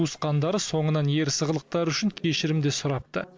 туысқандары соңынан ерсі қылықтары үшін кешірім де сұрапты